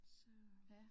Så